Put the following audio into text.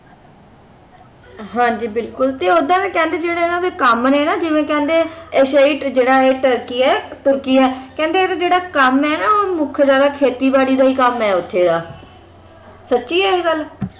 ਹਾਂ ਜੀ ਬਿਲਕੁਲ ਤੇ ਓਦਾਂ ਇਹ ਕਹਿੰਦੇ ਜਿਹੜੇ ਇਨ੍ਹਾਂ ਦੇ ਕੰਮ ਨੇ ਨਾ ਜਿਵੇਂ ਕਹਿੰਦੇ ਏਸ਼ਿਆਈ ਜਿਹੜਾ ਇਹ ਟਰਕੀ ਹੈ ਤੁਰਕੀ ਹੈ ਕਹਿੰਦੇ ਇਹਦਾ ਜਿਹੜਾ ਕੰਮ ਹੈ ਨਾ ਉਹ ਮੁੱਖ ਇਹਦਾ ਖੇਤੀ ਬੜੀ ਦਾ ਹੀ ਕੰਮ ਹੈ ਉੱਥੇ ਦਾ ਸੱਚੀ ਹੈ ਇਹ ਗੱਲ?